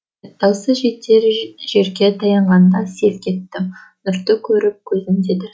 дауысы жетер жерге таянғанда селк еттім нұрды көріп көзін деді